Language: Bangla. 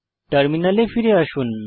টার্মিনালে ফিরে আসুন